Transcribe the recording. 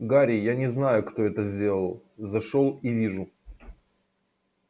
гарри я не знаю кто это сделал зашёл и вижу